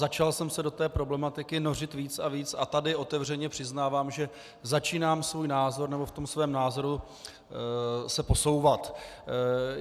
Začal jsem se do té problematiky nořit víc a víc a tady otevřeně přiznávám, že začínám svůj názor, nebo v tom svém názoru se posouvat.